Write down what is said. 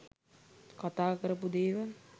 කතා කරපු දේවල්